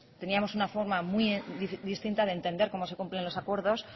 teníamos una forma muy distinta de entender cómo se cumplen los acuerdos